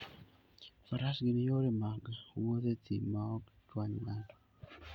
Faras gin yore mag wuoth e thim ma ok chwany ng'ato.